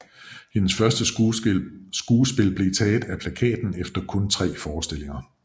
Hendes første skuespil blev taget af plakaten efter kun tre forestillinger